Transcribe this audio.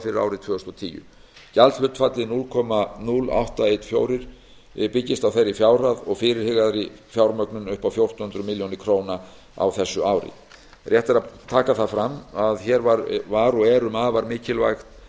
fyrir árið tvö þúsund og tíu gjaldhlutfallið núll komma núll átta ein fjögur prósent byggist á þeirri fjárhæð og fyrirhugaðri fjármögnun upp á fjórtán hundruð milljóna króna á þessu ári rétt er að taka fram að hér var og er um afar